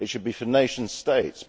it should be for nation states.